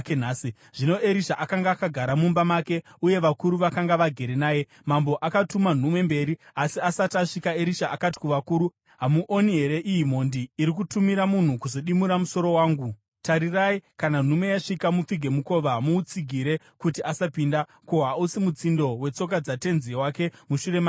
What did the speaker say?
Zvino Erisha akanga akagara mumba make, uye vakuru vakanga vagere naye. Mambo akatuma nhume mberi, asi asati asvika, Erisha akati kuvakuru, “Hamuoni here iyi mhondi iri kutumira munhu kuzodimura musoro wangu? Tarirai, kana nhume yasvika, mupfige mukova muutsigire kuti asapinda. Ko, hausi mutsindo wetsoka dzatenzi wake mushure make here?”